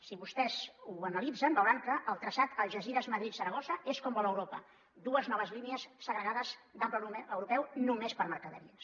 si vostès ho analitzen veuran que el traçat algesires madrid saragossa és com vol europa dues noves línies segregades d’ample europeu només per a mercaderies